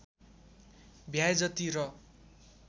भ्याए जति र